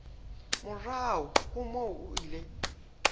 morao ho moo o ile